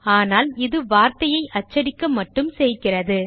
ஆனால் இது வார்த்தையை அச்சடிக்க மட்டும் செய்கிறது